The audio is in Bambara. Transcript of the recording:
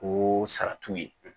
Ko sara t'u ye